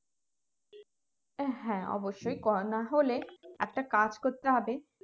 হ্যাঁ অবশ্যই কর না হলে একটা কাজ করতে হবে